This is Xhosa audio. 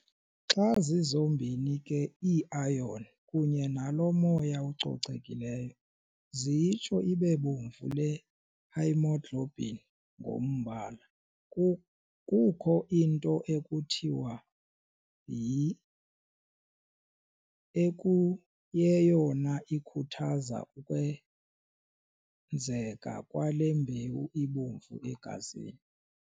Xa zizombini ke iiiron kunye nalo moya ucocekileyo ziyitsho ibebomvu le haemoglobin ngombala. Kukho into ekuthiwa yi] ekuyeyona ikhuthaza ukwenzeka kwale mbewu ibomvu egazini.